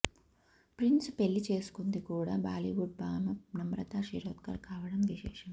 ప్రిన్స్ను పెళ్లి చేసుకుంది కూడా బాలీవుడ్ భామ నమ్రతా శిరోద్కర్ కావడం విశేషం